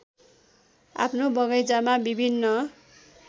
आफ्नो बगैँचामा विभिन्न